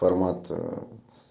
формат с